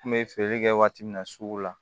N kun be feere kɛ waati min na sugu la